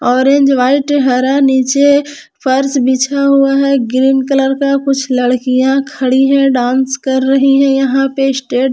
orange white हरा नीचे फर्श बिछा हुआ है ग्रीन कलर का कुछ लड़कियां खड़ी है डांस कर रही हैं यहां पे स्टेट--